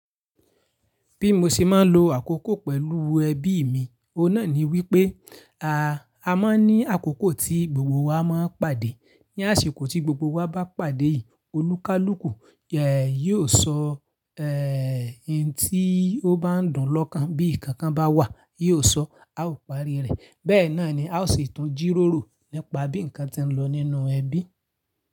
Bí mo ṣe máa ń lo àkókò pẹ̀lú ẹbí mi, ọ̀un na ni wípé, a máa ń ní àkókò tí gbogbo wa máa ń pàdé. Ni àsìkò tí gbogbo wa bá pàdé yìí, olúkúlùkù yóò sọ, ohun tí ó bá ń dùn lọ́kàn bí ǹkan bá wà, yóò sọ, a ó parí rẹ̀. Bẹ́ẹ̀ náà ni a ó sì tun jírórò nípa bí ǹkan tí ń lọ nínú ẹbí.